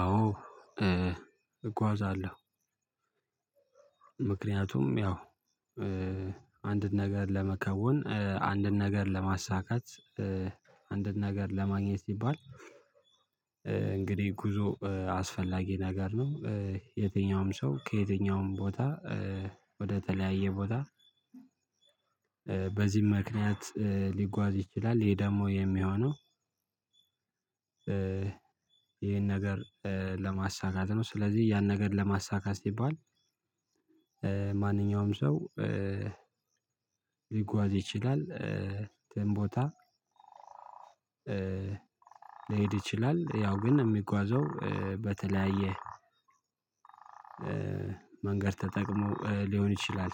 አዎ እጓዛለሁ ምክንያቱም ያው አንድን ነገር ለመከወን አንድን ነገር ለማሳካት አንድን ነገር ለማግኘት ሲባል እንግዲህ ጉዞ አስፈላጊ ነገር ነው። የትኛውም ሰው ከየትኛውም ቦታ ወደ ተለያየ ቦታ በዚህም ምክንያት ሊጓዝ ይችላል። ይሄ ደግሞ የሚሆነው ይሄን ነገር ለማሳካት ነው። ስለዚህ ያን ነገር ለማሳካት ሲባል ማንኛውም ሰው ሊጓዝ ይችላል የትም ቦታ ሊሄድ ይችላል ያው ግን የሚጓዘው በተለያየ መንገድ ተጠቅሞ ሊሆን ይችላል።